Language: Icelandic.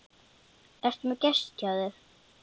Ertu með gest hjá þér